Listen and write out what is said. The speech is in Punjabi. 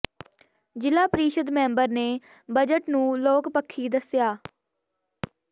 ਜ਼ਿਲ੍ਹਾ ਪ੍ਰੀਸ਼ਦ ਮੈਂਬਰ ਨੇ ਬਜਟ ਨੂੰ ਲੋਕ ਪੱਖੀ ਦੱਸਿਆ